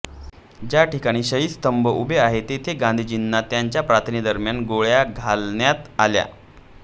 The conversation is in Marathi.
ज्या ठिकाणी शहीद स्तंभ उभा आहे तेथे गांधींना त्यांच्या प्रार्थनेदरम्यान गोळ्या घालण्यात आल्या